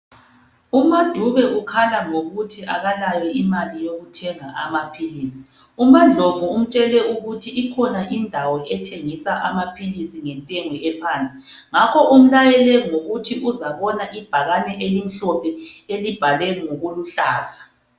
UMadube ukhala ngokuthi akalayo imali yokuthenga amaphilisi, uMandlovu umtshele ukuthi ikhona indawo ethengisa amaphilisi ngentengo ephansi ngakho umlayele ngokuthi uzabona ngebhakane elimhlophe elibhalwe ngokuluhlaza.